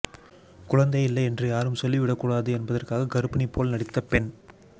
குழந்தை இல்லை என்று யாரும் சொல்லிவிடக் கூடாது என்பதற்காக கர்ப்பிணி போல் நடித்த பெண்